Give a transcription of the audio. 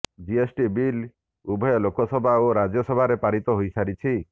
GST bill ଉଭୟ ଲୋକସଭା ଓ ରାଜ୍ୟସଭାରେ ପାରିତ ହୋଇସାରିଛି